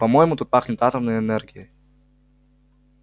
по-моему тут пахнет атомной энергией